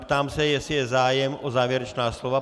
Ptám se, jestli je zájem o závěrečná slova.